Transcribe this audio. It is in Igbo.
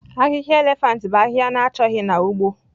Ahịhịa elephant bụ ahịhịa na-achọghị na ugbo